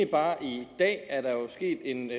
bare i dag er der jo sket en